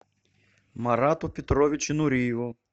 марату петровичу нуриеву